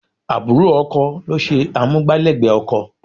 Àbúrò ọkọ ló ṣe amúgbálẹ́gbẹ̀ẹ́ ọkọ.